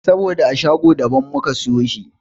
Saboda a shago da ban muka siyo shi.